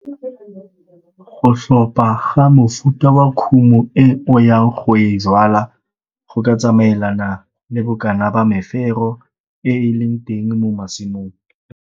Go tlhopha ga mofuta wa kumo e o yang go e jwala go ka tsamaelana le bokana ba mefero e e leng teng mo masimong.